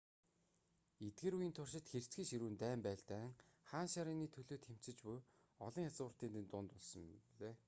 эдгээр үеийн туршид хэрцгий ширүүн дайн байлдаан хаан ширээний төлөө тэмцэж буй олон язгууртнуудын дунд болсон билээ